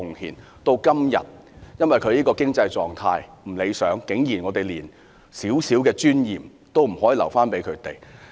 可是，時至今日，當他們的經濟狀況不理想時，我們竟然連一點尊嚴也沒有留給他們。